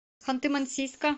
ханты мансийска